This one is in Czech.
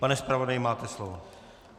Pane zpravodaji, máte slovo.